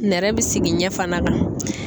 Nɛrɛ bɛ sigi ɲɛ fana ka.